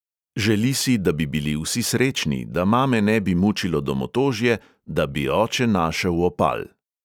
Želi si, da bi bili vsi srečni, da mame ne bi mučilo domotožje, da bi oče našel opal.